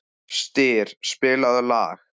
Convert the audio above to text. Styr, spilaðu lag.